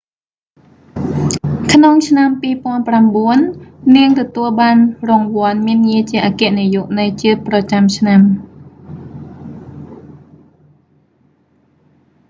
ក្នុងឆ្នាំ 2009 នាងទទួលបានរង្វាន់មានងារជាអគ្គនាយកនៃជាតិប្រចាំឆ្នាំ